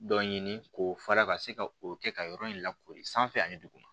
Dɔ ɲini k'o fara ka se ka o kɛ ka yɔrɔ in lakoori sanfɛ ani duguma